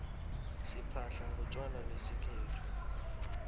siphahla ngontjwala besikhethu